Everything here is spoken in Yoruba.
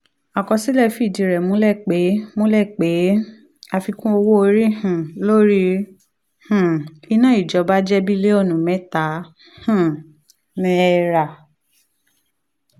àkọsílẹ̀ fìdí rẹ̀ múlẹ̀ pé múlẹ̀ pé àfikún owó orí um lórí um iná ìjọba jẹ́ bílíọ̀nù mẹ́ta um náírà.